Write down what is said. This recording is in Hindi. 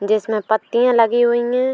जिसमें पत्तियां लगी हुई हैं।